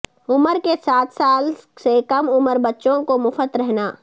عمر کے سات سال سے کم عمر بچوں کو مفت رہنا